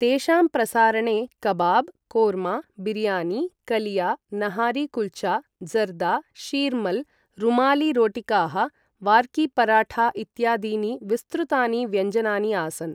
तेषां प्रसारणे कबाब्, कोर्मा, बिरियानी, कलिया, नहारी कुल्चा, ज़र्दा, शीर्मल्, रुमाली रोटिकाः, वार्की पराठा इत्यादीनि विस्तृतानि व्यञ्जनानि आसन्।